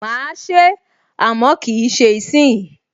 Mà á se é, àmọ́ kì í ṣe ìsìnyí